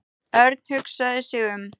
Örn hugsaði sig um.